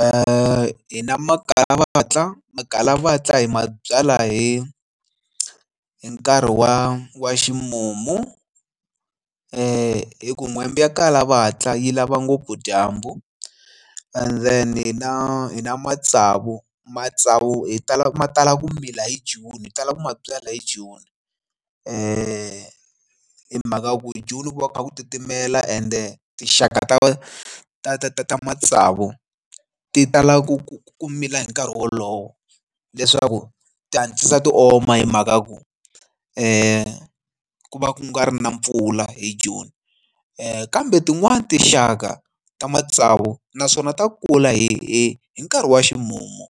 Hi na makalavatla makalavatla hi mabyalwa hi hi nkarhi wa wa ximumu hi ku kwembe ya kala vatla yi lava ngopfu dyambu and then hi na hi na matsavu matsavu hi tala ma tala ku mila hi june hi talaka ku ma byala hi joni hi hi mhaka ya ku joni ku va ku kha ku titimela ende tinxaka ta ta ta ta ta matsavu ti tala ku ku ku mila hi nkarhi wolowo leswaku ti hatlisa ti oma hi mhaka ya ku ku ku va ku nga ri na mpfula hi june ku kambe tin'wani tinxaka ta matsavu naswona ta kula hi hi nkarhi wa ximumu